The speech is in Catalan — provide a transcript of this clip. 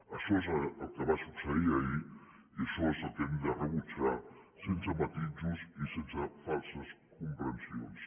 això és el que va succeir ahir i això és el que hem de rebutjar sense matisos i sense falses comprensions